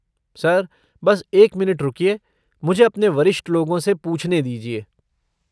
Sir बस एक minute रुकिए, मुझे अपने वरिष्ठ लोगों से पूछने दीजिए।